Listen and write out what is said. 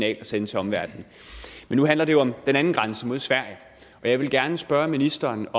at sende til omverdenen men nu handler det jo om den anden grænse mod sverige og jeg vil gerne spørge ministeren